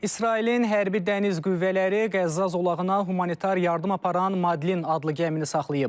İsrailin hərbi dəniz qüvvələri Qəzza zolağına humanitar yardım aparan Madlin adlı gəmini saxlayıb.